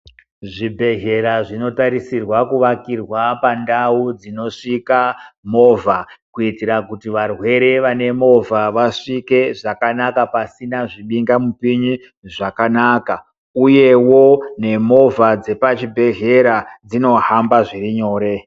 Zvibhedhlera zvinotarisirwa kuvakirwa pandau dzinosvika movha kuitira kuti varwere vane movha vasvike zvakanaka pasina zvibingamupini zvakanaka. Uyewo nemovha dzepachibhendlera dzinohamba zviri nyore.